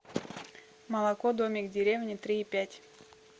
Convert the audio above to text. молоко домик в деревне три и пять